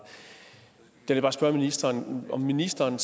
derfor spørge ministeren om ministeren